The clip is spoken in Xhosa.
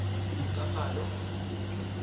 kaphalo